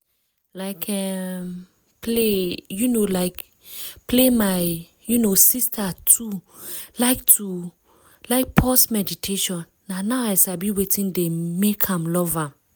like um play um like play my um sister too like too like pause meditation na now i sabi wetin dey make am love am.